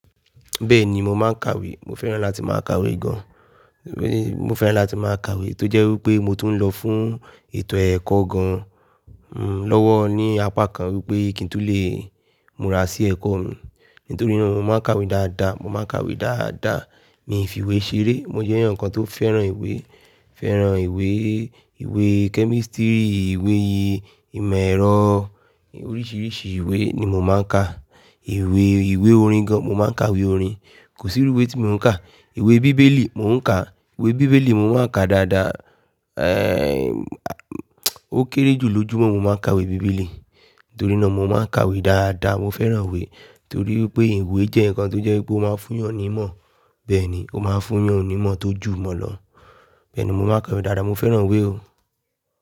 Bẹ́ẹ̀ni, mo máa ń kàwé. Mo fẹ́ràn láti máa kàwé gan. Mo fẹ́ràn láti máa kàwé tó jẹ́ wí pé mo tún ń lọ fún ètò ẹ̀kọ́ gan lọ́wọ́ ní apá kan wípé kí n tó le múra sí ẹ̀kọ́ mi. Nítorí náà mo máa ń kàwé dáadáa, mo máa ń kàwé dáadáa. Mi fi ìwé ṣeré, mo jẹ́ ẹyan kan tó fẹ́ràn ìwé, fẹ́ràn ìwé, ìwé kẹ́mísítírì, ìwé ìmọ̀ ẹ̀rọ oríṣiríṣi ìwé ni mo máa ń ka. Ìwé, ìwé orin gan, mo máa ń kàwé orin. Kò síru ìwé tí mi ò ń kà. Ìwé Bíbélì mo ń kà. Ìwé Bíbélì mo máa ń kà dáadáa. Eh, ó kéré jù lójúmọ́ mo máa ń kàwé Bíbélì. Nítorí náà mo máa ń kàwé dáadáa. Mo fẹ́ràn ìwé torí pé ìwé jẹ́ nǹkan tó jẹ́ wípé ó máa ń fún yàn ní ìmọ̀. Bẹ́ẹ̀ ni, ó máa ń fún'yàn ní ìmọ̀ tó jù mọ́ lọ. Bẹ́ẹ̀ ni mo máa ń kàwé dáadáa. Mo fẹ́ràn ìwé o.